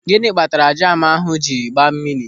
Gịnị kpatara jamu ahụ jiri gbaa mmiri?